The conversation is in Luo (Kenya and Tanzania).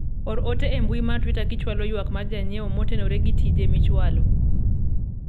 or ote e mbui mar twita kichwalo ywak mar janyiewo motenore gi tije michwalo